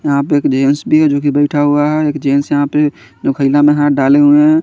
यहा पे एक जेन्स भी है जो की बेठा हुआ है एक जेन्स यहा पे मे हाथ डाले हुए है।